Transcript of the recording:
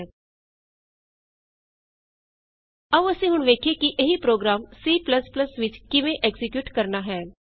sum is less than 10 ਆਉ ਅਸੀਂ ਹੁਣ ਵੇਖੀਏ ਕਿ ਇਹੀ ਪ੍ਰੋਗਰਾਮ C ਵਿਚ ਕਿਵੇਂ ਐਕਜ਼ੀਕਿਯੂਟ ਕਰਨਾ ਹੈ